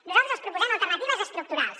nosaltres els proposem alternatives estructurals